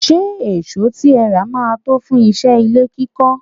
Ṣé èsó tí ẹ rà máa tó fún iṣẹ́ ilé kíkọ́?